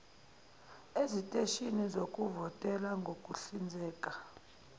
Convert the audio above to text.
eziteshini zokuvotela ngokuhlinzeka